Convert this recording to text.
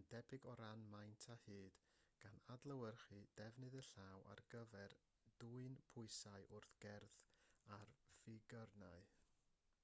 yn debyg o ran maint a hyd gan adlewyrchu defnydd y llaw ar gyfer dwyn pwysau wrth gerdded ar figyrnau